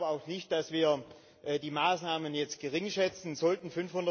Und ich glaube auch nicht, dass wir die Maßnahmen jetzt geringschätzen sollten.